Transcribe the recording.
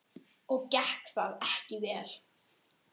Og gekk það ekki vel.